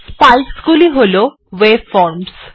spikes গুলি হল ওয়েভফর্মসহ